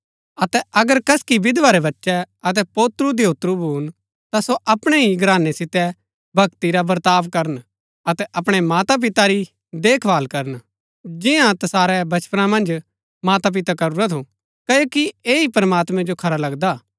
अतै अगर कसकि विधवा रै बच्चै अतै पोत्रुधयोत्रु भून ता सो अपणै ही घरानै सितै भक्ति रा बर्ताव करन अतै अपणै मातापिता री देखभाल करन जिन्या तसारै बचपना मन्ज मातापिता करूरा थू क्ओकि ऐह ही प्रमात्मैं जो खरा लगदा